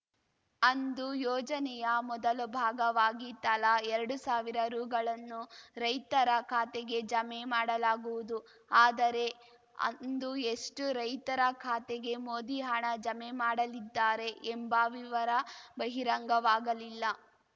ಅಂದು ಯೋಜನೆಯ ಮೊದಲ ಭಾಗವಾಗಿ ತಲಾ ಎರಡು ಸಾವಿರ ರುಗಳನ್ನು ರೈತರ ಖಾತೆಗೆ ಜಮೆ ಮಾಡಲಾಗುವುದು ಆದರೆ ಅಂದು ಎಷ್ಟುರೈತರ ಖಾತೆಗೆ ಮೋದಿ ಹಣ ಜಮೆ ಮಾಡಲಿದ್ದಾರೆ ಎಂಬ ವಿವರ ಬಹಿರಂಗವಾಗಲಿಲ್ಲ